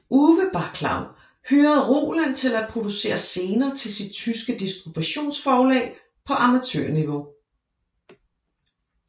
Uwe Baclau hyrede Roland til at producere scener til sit tyske distributionsforlag på amatørniveau